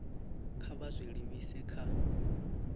kha vha zwi livhise kha